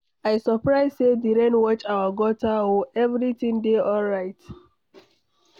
I surprise say the rain watch our gutter oo, everything dey alright